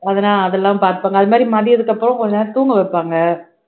அதுலாம் அதெல்லாம் பார்த்துப்பாங்க அது மாதிரி மதியத்துக்கு அப்புறம் கொஞ்ச நேரம் தூங்க வைப்பாங்க